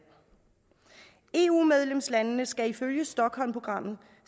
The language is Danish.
eu medlemslandene skal ifølge stockholmprogrammet